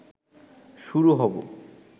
শুরু হব